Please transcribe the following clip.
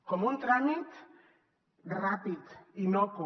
com un tràmit ràpid innocu